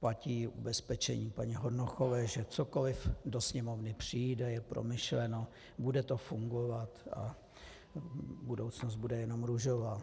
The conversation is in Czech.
platí ubezpečení paní Hornochové, že cokoliv do Sněmovny přijde, je promyšleno, bude to fungovat a budoucnost bude jenom růžová.